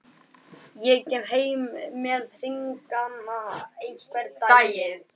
Leigubíll beint fyrir framan nefið á honum!